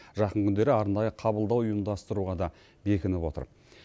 жақын күндері арнайы қабылдау ұйымдастыруға да бекініп отыр